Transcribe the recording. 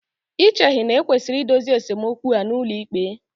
Ì cheghị na e kwesịrị idozi esemokwu a n'ụlọikpe?